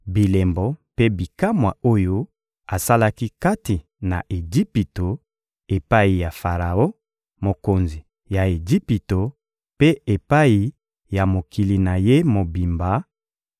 bilembo mpe bikamwa oyo asalaki kati na Ejipito, epai ya Faraon, mokonzi ya Ejipito, mpe epai ya mokili na ye mobimba,